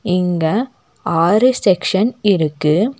இங்க ஆறு செக்க்ஷன் இருக்கு.